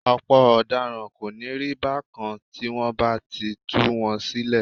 Ọ̀pọ̀ ọ̀daràn kò ní rí bákan tí wọ́n bá ti tú wọn sílẹ̀